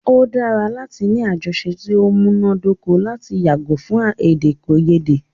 O dára láti ní àjọsọ ti o múná dóko lati yàgò fún èdèkòyédè.